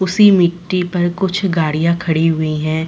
उसी मिट्टी पर कुछ गाड़ियां खड़ी हुई हैं।